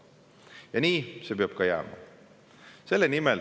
Ja nii see peab ka jääma.